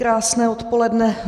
Krásné odpoledne.